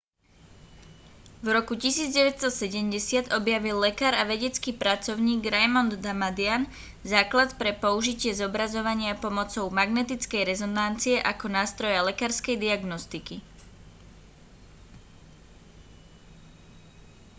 v roku 1970 objavil lekár a vedecký pracovník raymond damadian základ pre použitie zobrazovania pomocou magnetickej rezonancie ako nástroja lekárskej diagnostiky